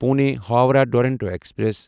Pune Howrah Duronto express